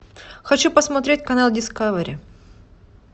хочу посмотреть канал дискавери